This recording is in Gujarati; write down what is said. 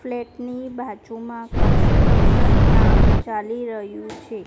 ફ્લેટ ની બાજુમાં કન્સ્ટ્રક્શન કામ ચાલી રહ્યુ છે.